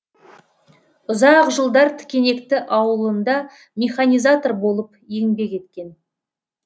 ұзақ жылдар тікенекті ауылында механизатор болып еңбек еткен